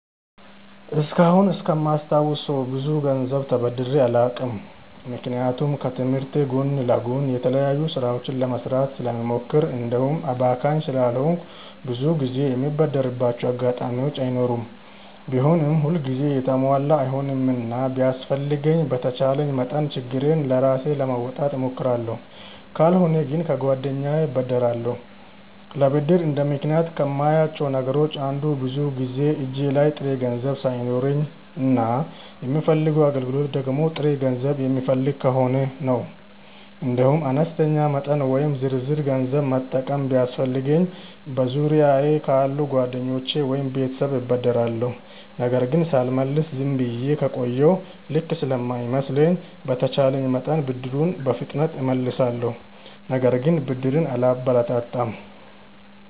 እስካሁን እስከማስታውሰው ብዙ ገንዘብ ተበድሬ አላውቅም። ምክንያቱም ከትምህርቴ ጎን ለጎን የተለያዩ ስራዎችን ለመስራት ስለምሞክር እንዲሁም አባካኝ ስላልሆንኩ ብዙ ጊዜ የምበደርባቸው አጋጣሚዎች አይኖሩም። ቢሆንም ሁል ጊዜ የተሟላ አይሆንምና ቢያስፈልገኝም በተቻለኝ መጠን ችግሬን ራሴ ለመወጣት እሞክራለሁ። ካልሆነ ግን ከጓደኛዬ እበደራለሁ። ለብድር እንደ ምክንያት ከማያቸው ነገሮች አንዱ ብዙውን ጊዜ እጄ ላይ ጥሬ ገንዘብ ሳይኖረኝ እና የምፈልገው አገልግሎት ደግሞ ጥሬ ገንዘብ የሚፈልግ ከሆነ ነው። እንዲሁም አነስተኛ መጠን ወይም ዝርዝር ገንዘብ መጠቀም ቢያስፈልገኝ በዙሪያየ ካሉ ጓደኞቼ ወይም ቤተሰብ እበደራለሁ። ነገር ግን ሳልመልስ ዝም ብዬ ከቆየሁ ልክ ስለማይመስለኝ በተቼለኝ መጠን ብድሩን በፍጥነት እመልሳለሁ። ነገር ግን ብድርን አላበረታታም።